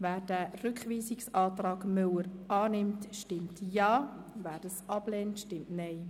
Wer diesen Rückweisungsantrag annimmt, stimmt Ja, wer diesen ablehnt, stimmt Nein.